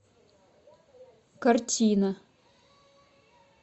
картина